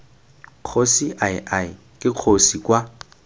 kgosi ii ke kgosi kwa